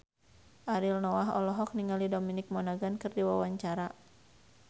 Ariel Noah olohok ningali Dominic Monaghan keur diwawancara